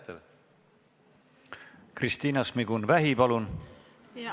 Kristina Šmigun-Vähi, palun!